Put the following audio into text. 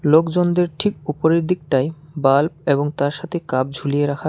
লোকজনদের ঠিক উপরের দিকটাই বাল্ব এবং তার সাথে কাপ ঝুলিয়ে রাখার--